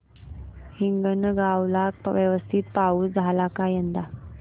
हिंगणगाव ला व्यवस्थित पाऊस झाला का यंदा